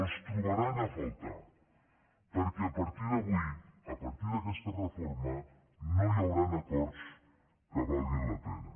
els trobaran a faltar perquè a partir d’avui a partir d’aquesta reforma no hi hauran acords que valguin la pena